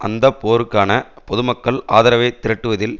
அந்த போருக்கான பொதுமக்கள் ஆதரவை திரட்டுவதில்